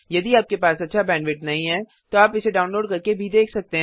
यदि आपके पास अच्छा बैंडविड्थ नहीं है तो आप इसे डाउनलोड करके देख सकते हैं